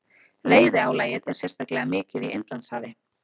Veiðiálagið er sérstaklega mikið í Indlandshafi.